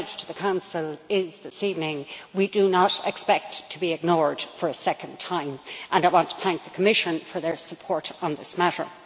Our message to the Council this evening is we do not expect to be ignored for a second time, and I want to thank the Commission for its support on this matter.